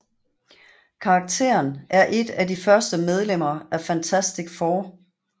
Karakteren er et af de første medlemmer af Fantastic Four